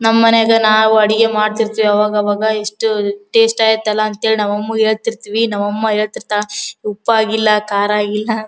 ನಮ್ಮನೆದು ನಾವು ಅಡಿಗೆ ಮಾಡತೀರ್ತ್ತಿವಿ ಆವಾಗ ಆವಾಗ ಎಷ್ಟು ಟೇಸ್ಟಿ ಆಯ್ತಲ್ಲಾ ಅಂತ ಹೇಳಿ ನಮ್ಮ ಅಮ್ಮಗೆ ಹೇಳತೀರ್ತ್ತಿವಿ ನಮ್ಮ ಅಮ್ಮ ಹೇಳ್ತಿರ್ತರ್ ಉಪ್ಪಾಗಿಲ್ಲಾ ಕಾರ ಆಗಿಲ್ಲಾ ಅ--